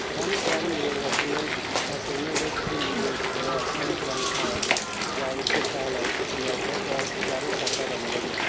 Həmin dərin bünövrəsindən təsirindən də bizim ev, həyət, həyətyanı sahə, yardımçı sahələr tikilərdə dərin çatla əmələ gəlmişdir.